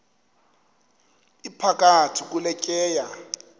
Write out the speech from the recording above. iphakathi kule tyeya